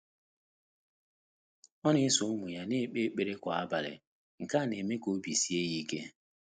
Ọ́ nà-ésò ụ́mụ́ yá nà-ékpé ékpèré kwá ábàlị̀, nké nà-émé kà óbí síé yá íké.